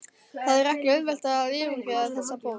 Það er ekki auðvelt að yfirgefa þessa borg.